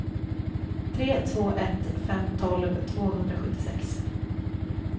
tre två ett fem tolv tvåhundrasjuttiosex